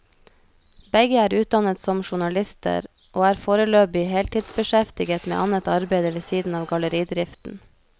Begge er utdannet som journalister, og er foreløpig heltidsbeskjeftiget med annet arbeide ved siden av galleridriften.